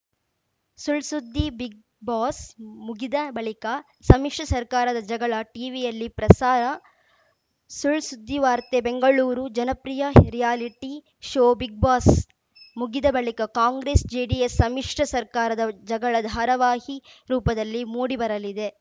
ಸುಳ್‌ ಸುದ್ದಿ ಬಿಗ್‌ಬಾಸ್‌ ಮುಗಿದ ಬಳಿಕ ಸಮ್ಮಿಶ್ರ ಸರ್ಕಾರದ ಜಗಳ ಟೀವಿಯಲ್ಲಿ ಪ್ರಸಾರ ಸುಳ್‌ ಸುದ್ದಿವಾರ್ತೆ ಬೆಂಗಳೂರು ಜನಪ್ರಿಯ ರಿಯಾಲಿಟಿ ಶೋ ಬಿಗ್‌ಬಾಸ್‌ ಮುಗಿದ ಬಳಿಕ ಕಾಂಗ್ರೆಸ್‌ ಜೆಡಿಎಸ್‌ ಸಮ್ಮಿಶ್ರ ಸರ್ಕಾರದ ಜಗಳ ಧಾರಾವಾಹಿ ರೂಪದಲ್ಲಿ ಮೂಡಿ ಬರಲಿದೆ